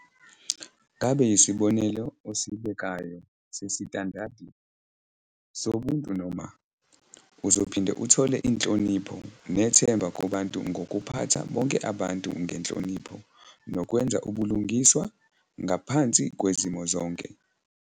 Ngabe yisibonelo osibekayo sesitandadi sobuntu noma? Uzophinda uthole inhlonipho nethemba kubantu ngokuphatha bonke abantu ngenhlonipho nokwenza ubulungiswa ngaphansi kwezimo zonke.